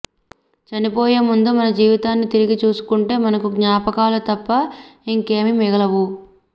చనిపోయే ముందు మన జీవితాన్ని తిరిగి చూసుకుంటే మనకు జ్ఞాపకాలు తప్ప ఇంకేమీ మిగిలవు